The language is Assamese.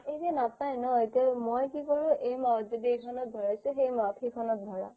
এ নাপাই ন মই কি কৰো এইমাহত যদি এইখনত ভৰাইছো সেই মাহত সেইখনত ভৰাও